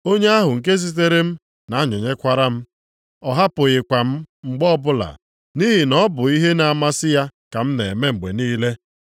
Onye ahụ nke zitere m na-anọnyekwara m. Ọ hapụghịkwa m mgbe ọbụla, nʼihi na ọ bụ ihe na-amasị ya ka m na-eme mgbe niile.”